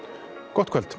gott kvöld